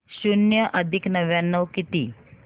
शून्य अधिक नव्याण्णव किती